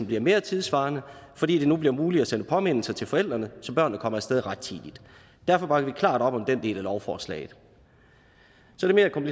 bliver mere tidssvarende fordi det nu bliver muligt at sende påmindelser til forældrene så børnene kommer af sted rettidigt derfor bakker vi klart op om den del af lovforslaget